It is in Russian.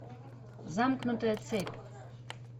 замкнутая цепь